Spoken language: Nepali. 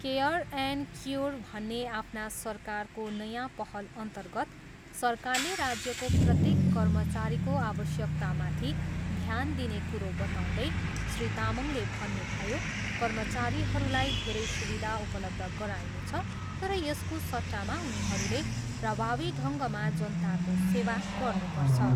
केयर एन्ड क्युर भन्ने आफ्ना सरकारको नयाँ पहलअन्तर्गत सरकारले राज्यको प्रत्येक कर्मचारीको आवश्यकतामाथि ध्यान दिने कुरो बताउँदै श्री तामाङले भन्नुभयो, कर्मचारीहरूलाई धेरै सुविधा उपलब्ध गराइनेछ तर यसको सट्टामा उनीहरूले प्रभावी ढङ्गमा जनताको सेवा गर्नुपर्छ।